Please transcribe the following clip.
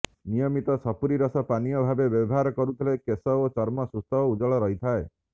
ନିୟମିତ ସପୁରି ରସ ପାନୀୟ ଭାବେ ବ୍ୟବହାର କରୁଥିଲେ କେଶ ଓ ଚର୍ମ ସୁସ୍ଥ ଓ ଉଜ୍ଜଳ ରହିଥାଏ